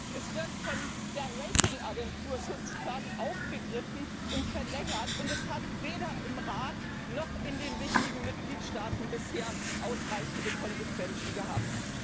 Es wird von der Ratingagentur sozusagen aufgegriffen und verlängert, und es hat weder im Rat noch in den wichtigen Mitgliedstaaten bisher ausreichende Konsequenzen gehabt.